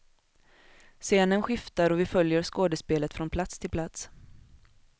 Scenen skiftar och vi följer skådespelet från plats till plats.